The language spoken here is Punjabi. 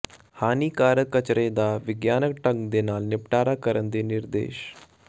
ਹਾਨੀਕਾਰਕ ਕਚਰੇ ਦਾ ਵਿਗਿਆਨਕ ਢੰਗ ਨਾਲ ਨਿਪਟਾਰਾ ਕਰਨ ਦੇ ਨਿਰਦੇਸ਼